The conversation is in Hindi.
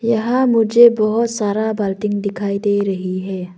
यहां मुझे बहुत सारा बाल्टी दिखाई दे रही है।